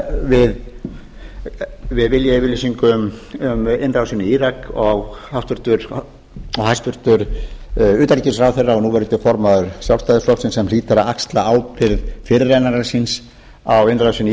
því að styðja við viljayfirlýsingu um innrásina í írak og hæstvirtur utanríkisráðherra og núv formaður sjálfstæðisflokksins sem hlýtur að axla ábyrgð fyrirrennara síns á innrásinni í